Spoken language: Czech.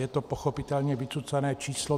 Je to pochopitelně vycucané číslo.